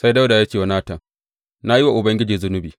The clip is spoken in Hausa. Sai Dawuda ya ce wa Natan, Na yi wa Ubangiji zunubi.